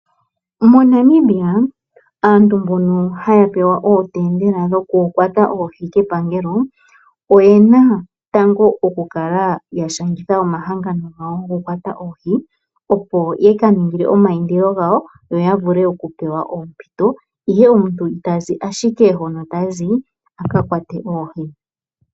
MoNamibia aantu mbono haya pewa ootendela dhokukwata oohi kepangelo oyena tango okushangitha omahangano gawi gokukwata oohi, yo yaka ninge omayindilo gawo ya pewe oompito dhokukwata oohi ihe omuntu omuntu itazi ashike hoka tazi aka kwate oohi.